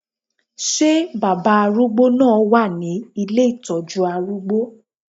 Ṣé baba arúgbó náà wà ní ilé ìtọ́jú arúgbó?